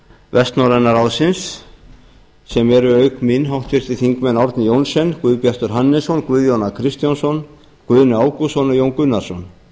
vestnorræna ráðsins sem eru auk mín háttvirtir þingmenn árni johnsen guðbjartur hannesson guðjón a kristjánsson guðni ágústsson og jón gunnarsson